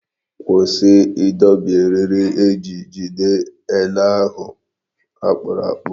Kwụsị ịdọbi eriri eji jide ele ahụ akpụrụ akpụ!